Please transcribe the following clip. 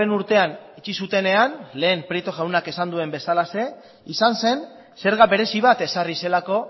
urtean itxi zutenean lehen prieto jaunak esan duen bezalaxe izan zen zerga berezi bat ezarri zelako